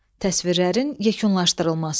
Təsvirlərin yekunlaşdırılması.